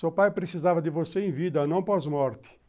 Seu pai precisava de você em vida, não pós-morte.